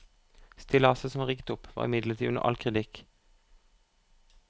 Stillaset som var rigget opp, var imidlertid under all kritikk.